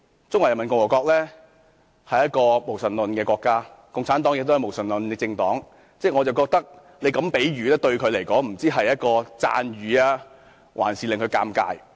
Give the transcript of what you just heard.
中華人民共和國是一個無神論的國家，而共產黨亦是無神論的政黨，我認為她這個比喻也不知道究竟是一個讚譽，還是會使其尷尬。